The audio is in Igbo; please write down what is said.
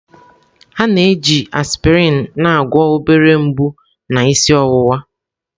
A na-eji aspịrịn na-agwọ obere mgbu na isi ọwụwa.